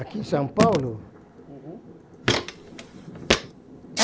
Aqui em São Paulo? Uhum. Bom